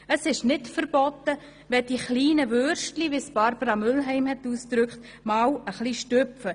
Es ist nicht verboten, wenn die kleinen Würstchen – wie es Barbara Mühlheim ausgedrückt hat – einmal «e chly stüpfe».